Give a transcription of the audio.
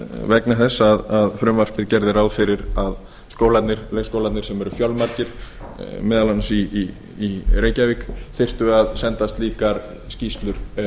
vegna þess að frumvarpið gerði ráð fyrir að leikskólarnir sem eru fjölmargir meðal annars í reykjavík þyrftu að senda slíkar skýrslur